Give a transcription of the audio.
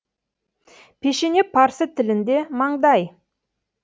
пешене парсы тілінде маңдай